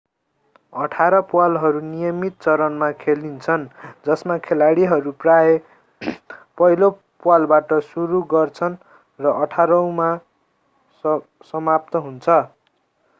अठार प्वालहरू नियमित चरणमा खेलिन्छन् जसमा खेलाडीहरू प्राय पहिलो प्वालबाट सुरु गर्दछन् र अठारौंमा समाप्त हुन्छ